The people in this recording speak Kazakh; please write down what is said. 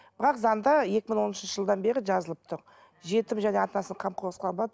бірақ заңда екі мың он үшінші жылдан бері жазылып тұр жетім және ата анасының қамқорсыз қалған бала